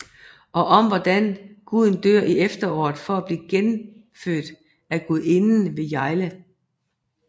Og om hvordan Guden dør i efteråret for at blive genfødt af Gudinden ved Yule